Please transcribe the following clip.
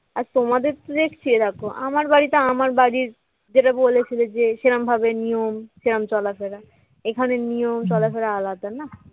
আর তোমাদের তো দেখছি এরকম আমার বাড়িতে আমার বাড়ির যেটা বলেছিলে যে সেরকমভাবে নিয়ম সেরকম চলাফেরা এখানে নিয়ম চলাফেরা আলাদা না?